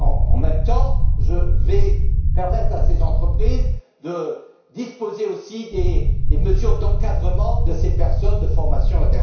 En même temps, je vais permettre à ces entreprises de disposer aussi de mesures d'encadrement de ces personnes, de formation, etc.